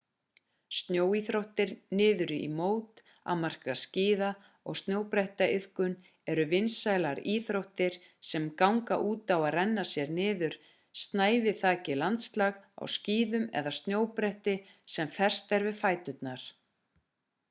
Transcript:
snjóíþróttir niður í móti m.a. skíða og snjóbrettaiðkun eru vinsælar íþróttir sem ganga út á að renna sér niður snæviþakið landslag á skíðum eða snjóbretti sem fest er við fæturna